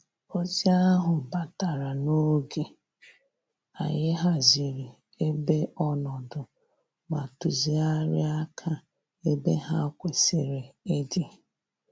Ozi ahụ batara n'oge, anyị haziri ebe ọnọdụ ma tuzigharịa aka ebe ha kwesịrị ịdị